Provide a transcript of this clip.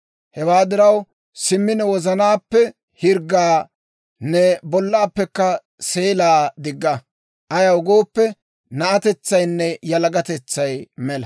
Hewaa diraw, simmi ne wozanaappe hirggaa, ne bollaappekka seelaa digga. Ayaw gooppe, na'atetsaynne yalagatetsay mela.